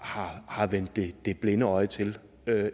har vendt det det blinde øje til